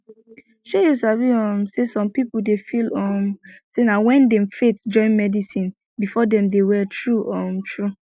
shey you sabi um say some pipo dey feel um say na wen dem faith join medicine before dem dey well true um true